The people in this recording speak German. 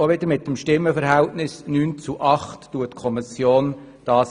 Die Kommission lehnt diesen Antrag wiederum mit dem Stimmenverhältnis von 9 zu 8 Stimmen ab.